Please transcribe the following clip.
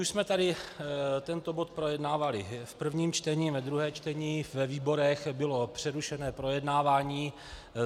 Už jsme tady tento bod projednávali v prvním čtení, ve druhém čtení, ve výborech, bylo přerušeno projednávání.